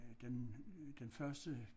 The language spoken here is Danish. Den den første